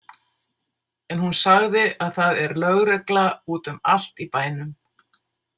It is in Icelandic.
En hún sagði að það er lögregla úti um allt í bænum.